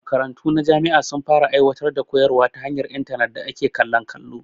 Makaratu na jami'a sun fara aiwatar da koyarwa ta hanyar intarnet da ake kallon kallo